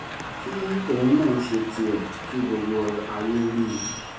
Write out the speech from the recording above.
kí òun náà ṣe tiẹ̀ kí gbogbo ayé rí i